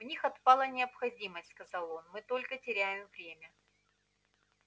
в них отпала необходимость сказал он мы только теряем время